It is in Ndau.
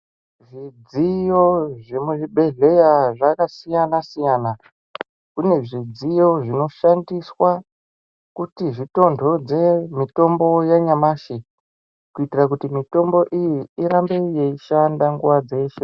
Zvidziyo zvemuzvibhedhleya zvakasiyana-siyana kune zvidziyo zvinoshandiswa kuti zvitontodze mitombo yanyamashi kuitire kuti mitombo iyi irambe yeishanda nguwa dzeshe.